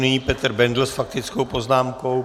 Nyní Petr Bendl s faktickou poznámkou.